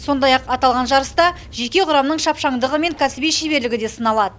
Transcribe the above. сондай ақ аталған жарыста жеке құрамның шапшаңдығы мен кәсіби шеберлігі де сыналады